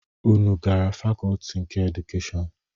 Unu gara fakọọti nke edukeshọn?